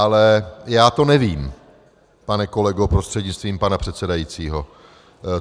Ale já to nevím, pane kolego prostřednictvím pana předsedajícího.